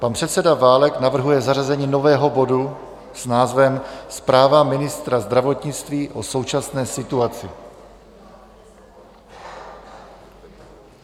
Pan předseda Válek navrhuje zařazení nového bodu s názvem Zpráva ministra zdravotnictví o současné situaci.